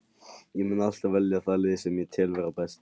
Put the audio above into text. Ég mun alltaf velja það lið sem ég tel vera best.